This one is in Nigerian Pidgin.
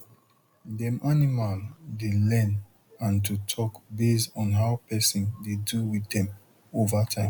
dem animal dey learn and to talk base on how person dey do with dem over time